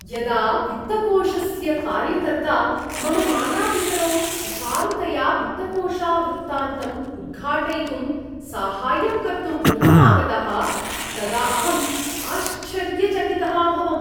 यदा वित्तकोषस्य कार्यकर्ता मम मातापितरौ सुचारुतया वित्तकोषवृतान्त्तम् उद्घाटयितुं साहाय्यं कर्तुं गृहम् आगतः तदा अहम् आश्चर्यचकितः अभवम्।